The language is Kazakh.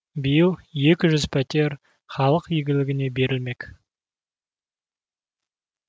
биыл екі жүз пәтер халық игілігіне берілмек